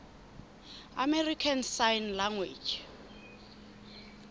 american sign language